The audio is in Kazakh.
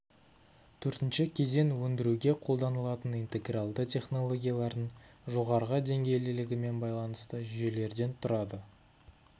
төртінші кезең өндіруге қолданылатын интегралды технологиялардың жоғарғы деңгейлілігімен байланысты жүйелерден тұрады